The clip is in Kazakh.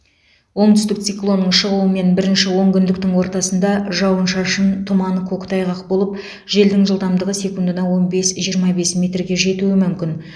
оңтүстік циклонның шығуымен бірінші онкүндіктің ортасында жауын шашын тұман көктайғақ болып желдің жылдамдығы секундына он бес жиырма бес метрге жетуі мүмкін